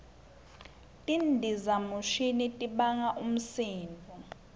tindizamshini tibanga umsindvo